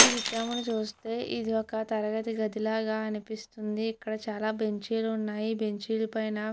ఈ చిత్రాన్ని చూస్తే ఇది ఒక తరగతి గది లాగా అనిపిస్తుంది ఇక్కడ చాలా బెంచీలు ఉన్నాయి బెంచీల పైన --